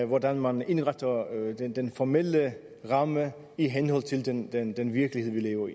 hvordan man indretter den formelle ramme i henhold til den den virkelighed vi lever